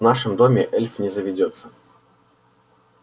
в нашем доме эльф не заведётся